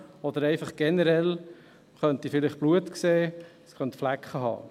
Oder einfach generell, man könnte vielleicht Blut sehen, es könnte Flecken haben.